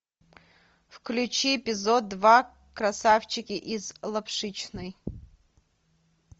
включи эпизод два красавчики из лапшичной